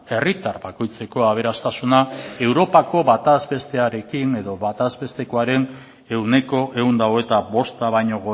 herritar bakoitzeko aberastasuna europako batazbestearekin edo batezbestekoaren ehuneko ehun eta hogeita bosta baino